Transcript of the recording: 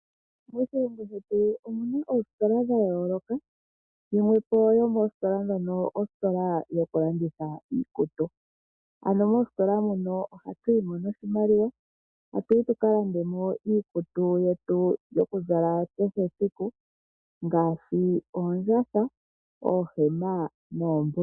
Moshilongo shetu omu na oositola dha yooloka, yimwe po yo moositola dhono ositola yokulanditha iikutu, ano moositola muno ohatu yi mo noshimaliwa tatu yi tu ka lande mo iikutu yetu yokuzala kehe esiku ngaashi oondjatha, oohema noombulukweya.